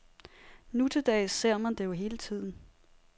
Nutildags ser man det jo hele tiden.